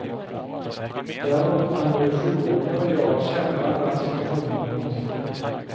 Däremot kan både sjuåringen och jag känna när situationen är hotfull.